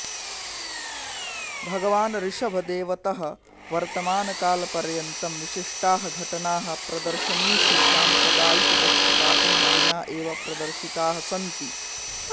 भगवान् ऋषभदेवतः वर्तमानकालपर्यन्तं विशिष्टाः घटनाः प्रदर्शनीषु साम्प्रदायिकपक्षपातेन विना एव प्रदर्शिताः सन्ति